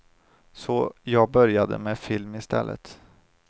Så jag började med film i stället.